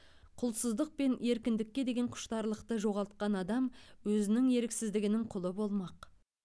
құлсыздық пен еркіндікке деген құштарлықты жоғалтқан адам өзінің еріксіздігінің құлы болмақ